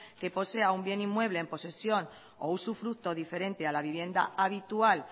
que posea un bien inmueble en posesión o usufructo diferente de la vivienda habitual